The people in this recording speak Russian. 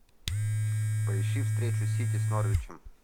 поищи встречу сити с норвичем